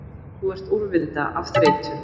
Þú ert úrvinda af þreytu